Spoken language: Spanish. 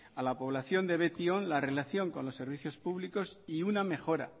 a la población de betion la relación con los servicios públicos y una mejora